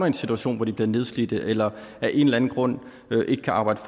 en situation hvor de bliver nedslidte eller af en eller anden grund ikke kan arbejde